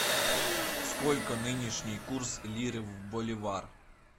сколько нынешний курс лиры в боливар